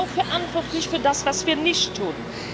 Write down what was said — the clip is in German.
Wir sind auch verantwortlich für das, was wir nicht tun.